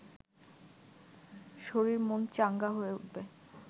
শরীর-মন চাঙ্গা হয়ে উঠবে